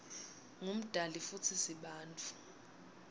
ngumdali futsi sibantfu